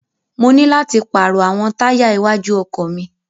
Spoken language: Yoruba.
Mo ní láti pàrọ̀ àwọn táyà iwájú ọkọ̀ mi.